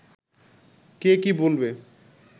কে কী বলবে